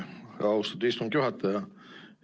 Aitäh, austatud istungi juhataja!